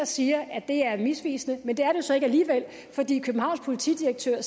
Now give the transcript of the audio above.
siger at det er misvisende men det er det jo så ikke alligevel fordi københavns politidirektør